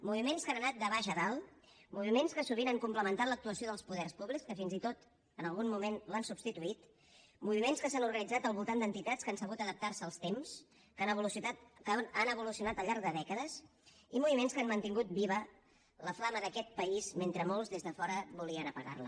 moviments que han anat de baix a dalt moviments que sovint han complementat l’actuació dels poders públics que fins i tot en algun moment l’han substituït moviments que s’han organitzat al voltant d’entitats que han sabut adaptarse als temps que han evolucionat al llarg de dècades i moviments que han mantingut viva la flama d’aquest país mentre molts des de fora volien apagarla